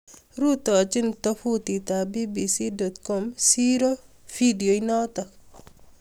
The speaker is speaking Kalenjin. Rutochii tofutiit ap BBC.com siiroo vidio inotok